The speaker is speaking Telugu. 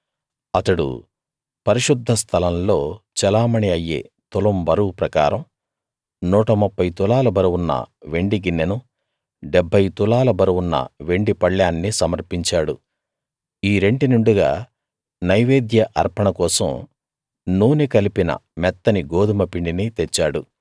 అతడు పరిశుద్ధ స్థలంలో చెలామణీ అయ్యే తులం బరువు ప్రకారం 130 తులాల బరువున్న వెండి గిన్నెనూ 70 తులాల బరువున్న వెండి పళ్ళేన్నీ సమర్పించాడు ఈ రెంటి నిండుగా నైవేద్య అర్పణ కోసం నూనె కలిపిన మెత్తని గోదుమ పిండిని తెచ్చాడు